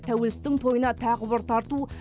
тәуелсіздік тойына тағы бір тарту